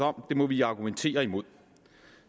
om må vi argumentere imod